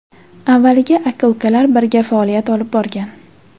Avvaliga aka-ukalar birga faoliyat olib borgan.